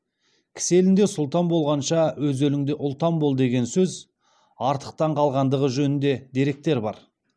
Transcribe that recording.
кісі елінде сұлтан болғанша өз еліңде ұлтан бол деген сөз артықтан қалғандығы жөнінде деректер бар